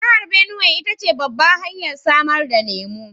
Jihar Benuwai ita ce babbar hanyar samar da lemu